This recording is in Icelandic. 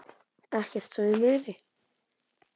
Ekkert svo ég muni.